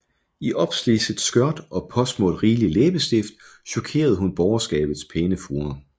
I opslidset skørt og påsmurt rigelig læbestift chokerede hun borgerskabets pæne fruer